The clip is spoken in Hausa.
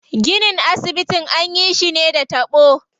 Ginin asibitin anyi shi ne da taɓo.